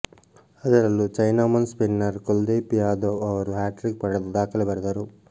ಅದರಲ್ಲೂ chinaman spinner Kuldeep Yadav ಅವರು hat trick ಪಡೆದು ದಾಖಲೆ ಬರೆದರು